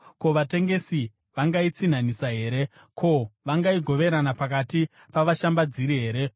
Ko, vatengesi vangaitsinhanisa here? Ko, vangaigoverana pakati pavashambadziri here?